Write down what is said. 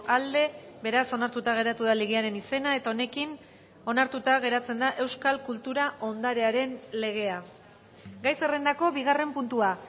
aldekoa beraz onartuta geratu da legearen izena eta honekin onartuta geratzen da euskal kultura ondarearen legea gai zerrendako bigarren puntua